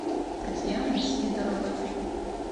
татьяны сидоровой